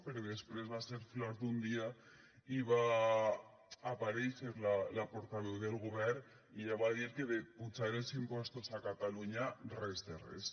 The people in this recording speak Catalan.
però després va ser flor d’un dia i va aparèixer la portaveu del govern i ella va dir que de pujar els impostos a catalunya res de res